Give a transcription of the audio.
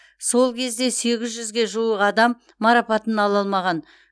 сол кезде сегіз жүзге жуық адам марапатын ала алмаған